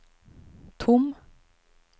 tom